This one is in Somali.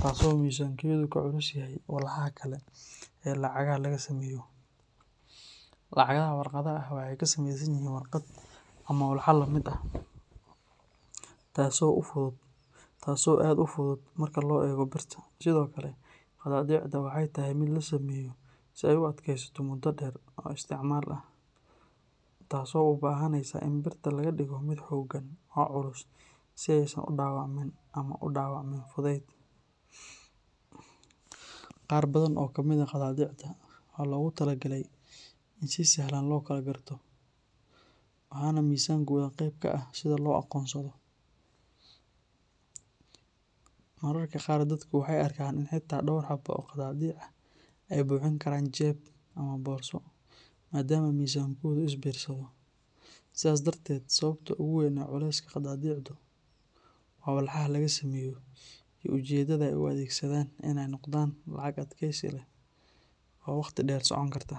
taas oo miisaankeedu ka culus yahay walxaha kale ee lacagaha laga sameeyo. Lacagaha warqadda ah waxay ka samaysan yihiin warqad ama walax la mid ah, taas oo aad u fudud marka loo eego birta. Sidoo kale, qadaadiicda waxay tahay mid la sameeyo si ay u adkaysato muddo dheer oo isticmaal ah, taas oo u baahanaysa in birta laga dhigo mid xooggan oo culus si aysan u dhaawacmin ama u dhaawacmin fudayd. Qaar badan oo ka mid ah qadaadiicda waxaa loogu talagalay in si sahlan loo kala garto, waxaana miisaankooda qayb ka ah sida loo aqoonsado. Mararka qaar dadku waxay arkaan in xitaa dhowr xabo oo qadaadiic ah ay buuxin karaan jeeb ama boorso maadaama miisaankoodu is biirsado. Sidaas darteed, sababta ugu weyn ee culayska qadaadiicdu waa walxaha laga sameeyo iyo ujeedada ay u adeegsadaan in ay noqdaan lacag adkaysi leh oo waqti dheer socon karta.